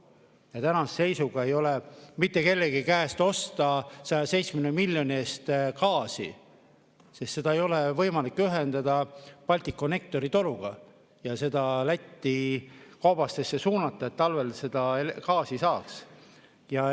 Ja tänase seisuga ei ole mitte kellegi käest osta 170 miljoni eest gaasi, sest seda ei ole võimalik ühendada Balticconnectori toruga, seda Läti koobastesse suunata, et talvel gaasi saaks.